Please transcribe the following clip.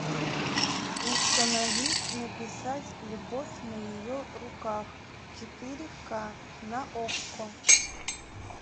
установи написать любовь на ее руках четыре ка на окко